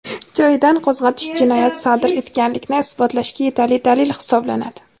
joyidan qo‘zg‘atish jinoyat sodir etganlikni isbotlashga yetarli dalil hisoblanadi.